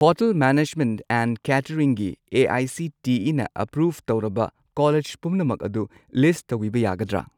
Hotel management and ꯀꯦꯇꯔꯤꯡꯒꯤ ꯑꯦ.ꯑꯥꯏ.ꯁꯤ.ꯇꯤ.ꯏ.ꯅ approve ꯇꯧꯔꯕ ꯀꯣꯂꯦꯖ ꯄꯨꯝꯅꯃꯛ ꯑꯗꯨ ꯂꯤꯁꯠ ꯇꯧꯕꯤꯕ ꯌꯥꯒꯗ꯭ꯔꯥ?